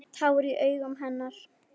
Tár í augum hennar.